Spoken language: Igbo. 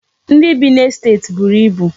Ndị bi n'estet buru ibu.